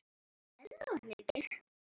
Sérðu hana ekki?